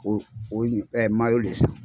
O o ɲi de ye sa.